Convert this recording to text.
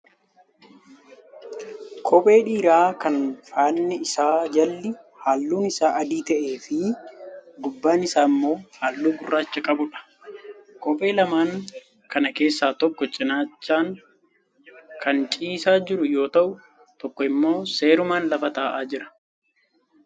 Kophee dhiiraa kan faanni isaa jalli halluun isaa adii ta'ee fi gubbaan isaa immoo halluu gurraacha qabuudha. Kophee lamaan kana keessaa tokko cinaachaan kan ciisaa jiru yoo ta'u tokko immoo seerumaan lafa ta'aa jira.